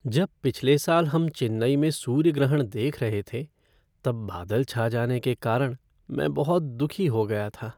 जब पिछले साल हम चेन्नई में सूर्य ग्रहण देख रहे थे तब बादल छा जाने के कारण मैं बहुत दुखी हो गया था।